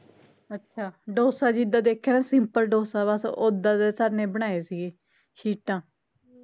ਅੱਛਾ ਡੋਸਾ ਜਿਦਾਂ ਦੇਖਿਆ simple ਡੋਸਾ ਬੱਸ ਓਹਦਾ ਦਾ ਸਰ ਨੇ ਬਣਾਏ ਸੀਗੇ ਸ਼ੀਟਾਂ